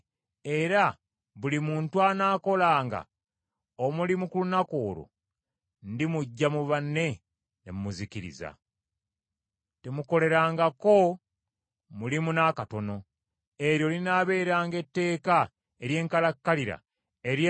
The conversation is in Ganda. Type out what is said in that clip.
Temulukolerangako mulimu n’akatono. Eryo linaabeeranga etteeka ery’enkalakkalira, ery’emirembe gyonna egigenda okujja mu bifo byonna gye munaabeeranga.